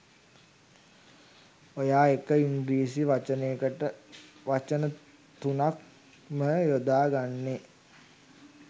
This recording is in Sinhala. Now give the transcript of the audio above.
ඔයා එක ඉංගිරිසි වචනයකට වචන තුනක් ම යොදා ගෙනනේ